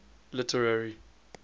literary